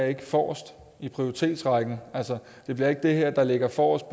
ikke forrest i prioritetsrækken det bliver ikke det her der ligger forrest